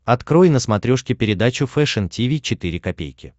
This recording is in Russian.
открой на смотрешке передачу фэшн ти ви четыре ка